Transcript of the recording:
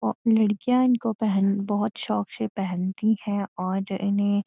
लड़किया इनको पहन बहुत शौक से पहनती है और जो इन्हें --